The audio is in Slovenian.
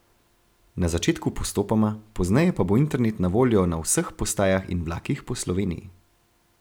Na začetku postopoma, pozneje pa bo internet na voljo na vseh postajah in vlakih po Sloveniji.